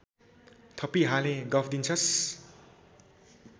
थपिहालेँ गफ दिन्छस्